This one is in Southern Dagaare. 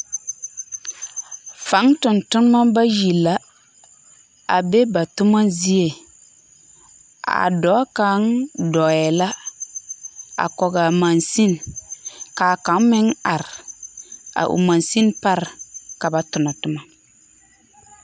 Faŋ tontonema bayi la abe ba tyoma zie. A dɔɔɛ la a kɔge a mansini. Ka a kaŋ meŋ are a o mansini pare ka ba tona toma.